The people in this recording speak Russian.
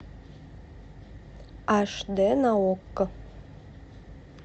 аш д на окко